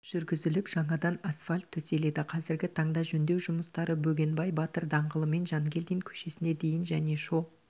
жүргізіліп жаңадан асфальт төселеді қазіргі таңда жөндеу жұмыстары бөгенбай батыр даңғылымен жангелдин көшесіне дейін және